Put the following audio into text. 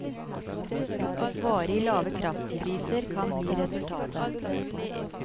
Varig lave kraftpriser kan bli resultatet.